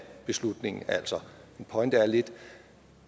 altså lidt